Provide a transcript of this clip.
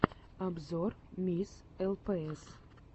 обзор мисс лпс